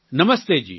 નમસ્તે જી